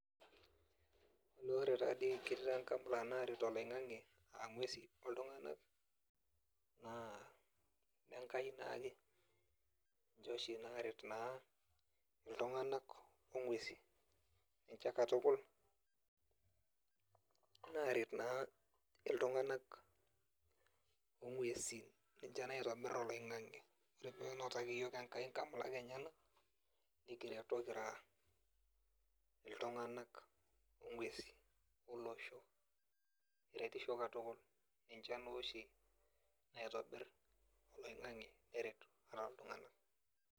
Ore taa dii ketii taa sii nkamulak naaret oloingang'e, aa nguesi oltunganak naa ine nkai naake, ninche oshi naaret iltunganak ing'uesi kekatukul naaret naa iltunganak onguesi ninche naotobir oloingang'e. Ore pee enotaki iyiook Enkai nkamulak enyenak nikireto kira iltunganak, ing'uesi olosho keretisho katukul, enchan naa oshi naotobir oloingang'e neret